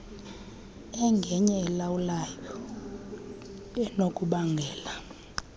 engenye elawulayo enokubangela